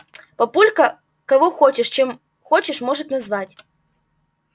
папулька кого хочешь чем хочешь может назвать